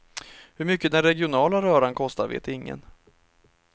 Hur mycket den regionala röran kostar vet ingen.